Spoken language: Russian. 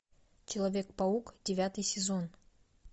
человек паук девятый сезон